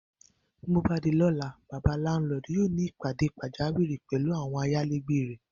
Bóbá di ló̩la, bàbá láńlo̩ò̩dù yóò ní ìpàdé pàjáwìrì pè̩lú àwo̩n ayálégbé rè̩